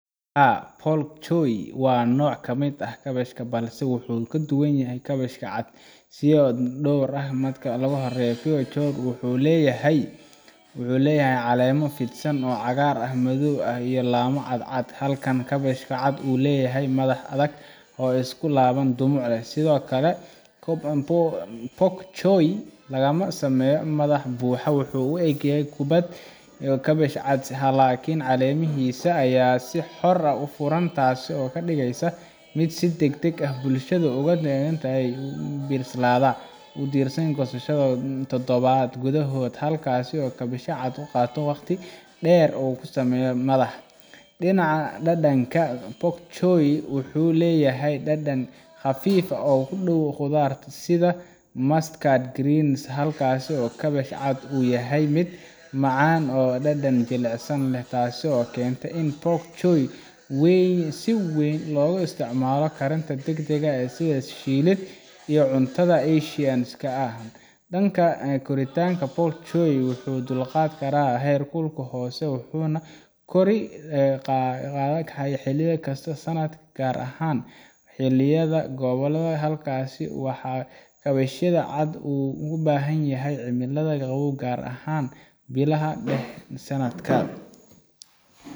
haa pok choi waa nooc ka mid ah kaabashka balse wuxuu ka duwan yahay kaabashka cad siyaabo dhowr ah marka ugu horreysa pok choi wuxuu leeyahay caleemo fidsan oo cagaar madow ah iyo laamo cadcad halka kaabashka cad uu leeyahay madax adag oo isku laaban oo dhumuc leh sidoo kale pok choi lama sameeyo madax buuxa oo u eg kubbad sida kaabashka cad laakiin caleemihiisa ayaa si xor ah u furan taasoo ka dhigaysa mid si degdeg ah u bislaada oo u diyaarsan goosasho dhowr toddobaad gudahood halka kaabashka cad uu qaato waqti dheer si uu u sameeyo madax dhinaca dhadhanka pok choi wuxuu leeyahay dhadhan khafiif ah oo u dhow khudaaraha sida mustard greens halka kaabashka cad uu yahay mid macaan oo dhadhan jilicsan leh taasoo keenta in pok choi si weyn loogu isticmaalo karinta degdega ah sida shiilid iyo cuntada asian ka ah dhanka koritaanka pok choi wuxuu u dulqaadan karaa heerkul hoose wuxuuna kori karaa xilli kasta oo sanadka ah gaar ahaan xilliyada qaboobaha halka kaabashka cad uu u baahan yahay cimilada qabow gaar ahaan bilaha dhexe ee sanadka